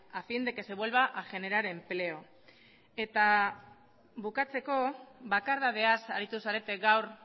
a fin de que se vuelva a generar empleo eta bukatzeko bakardadeaz aritu zarete gaur